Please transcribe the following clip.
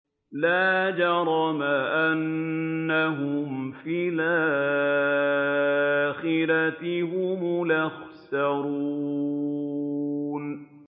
لَا جَرَمَ أَنَّهُمْ فِي الْآخِرَةِ هُمُ الْأَخْسَرُونَ